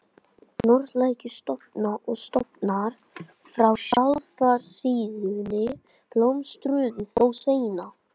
Norðlægir stofnar og stofnar frá sjávarsíðunni blómstruðu þó seinna.